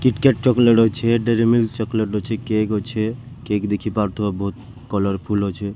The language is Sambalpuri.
KitKat chocolate ଅଛେ Dairy Milk chocolate ଅଛେ cake ଅଛେ କେକ୍‌ ଦେଖି ପାରୁଥିବେ ବହୁତ କଲରଫୁଲ୍‌ ଅଛେ--